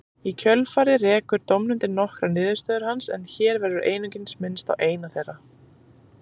Í kjölfarið rekur dómnefndin nokkrar niðurstöður hans en hér verður einungis minnst á eina þeirra.